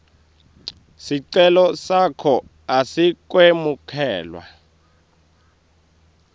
sicelo sakho asikemukelwa